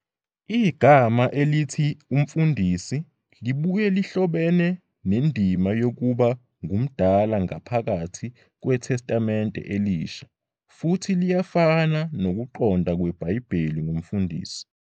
Igama elithi "umfundisi" libuye lihlobene nendima yokuba ngumdala ngaphakathi kweTestamente Elisha, futhi liyafana nokuqonda kweBhayibheli ngomfundisi.